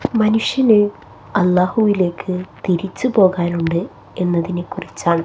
മനുഷ്യന് അല്ലാഹുവിലേക്ക് തിരിച്ചുപോകാൻ ഉണ്ട് എന്നതിനെക്കുറിച്ചാണ്--